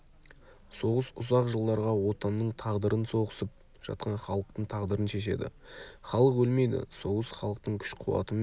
соғыс ұзақ жылдарға отанның тағдырын соғысып жатқан халықтың тағдырын шешеді халық өлмейді соғыс халықтың күш-қуаты мен